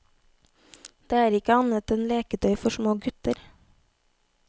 Det er ikke annet enn leketøy for små gutter.